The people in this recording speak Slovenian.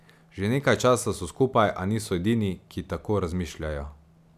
Že nekaj časa so skupaj, a niso edini, ki tako razmišljajo.